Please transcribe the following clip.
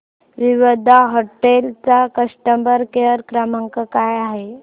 Vivanta hotel चा customer care क्रमांक काय आहे